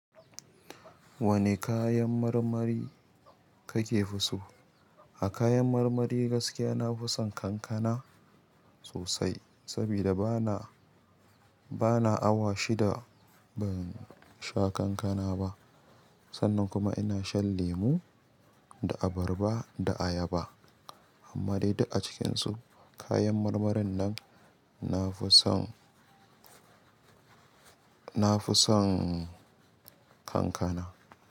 Wane kayan marmari kake fi so? A kayan marmari gaskiya nafison kankana sosai, sabida bana, bana awa shida ban sha kankana ba. Sannan kuma ina shan lemu da abarba da ayaba. Amma dai duk a cikinsu kayan marmarin nan nafison, nafison kankana.